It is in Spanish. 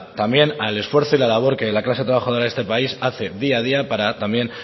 también al esfuerzo y la labor que la clase trabajadora de este país hace día a día para también